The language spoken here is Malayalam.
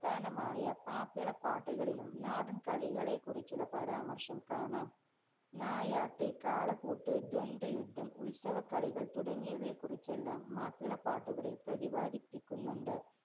നമായ മാപ്പിളപ്പാട്ടുകളിലും നാടന്‍കളികളെക്കുറിച്ചുള്ള പരാമര്‍ശം കാണാം. നായാട്ട്, കാളപൂട്ട്, ദ്വന്ദ്വയുദ്ധം, ഉത്സവക്കളികള്‍ തുടങ്ങിയവയെക്കുറിച്ചെല്ലാം മാപ്പിളപ്പാട്ടുകളില്‍ പ്രതിപാദിപ്പിക്കുന്നുണ്ട്.